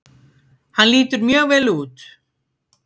Hann lítur mjög vel út.